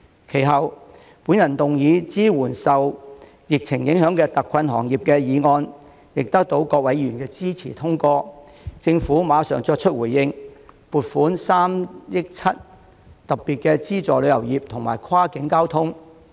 其後，我動議"支援受疫情影響的特困行業"議案，亦得到各位議員支持通過，政府馬上作出了回應，撥款3億 7,000 萬元特別資助旅遊業及跨境交通。